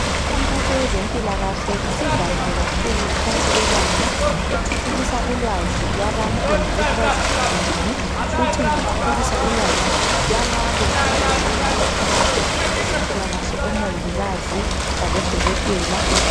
Imikhankaso yezempilakahle isivamile kakhulu ngaphansi kwelanga ethuthukisa ulwazi lwabantu ngokuthi baziphathe njani futhi ithuthukisa ukwazi lwalabo abavele bekhonapho kwezempilakahle omongikazi labodokotela.